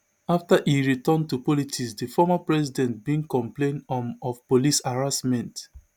afta e return to politics di former president bin complain um of police harassment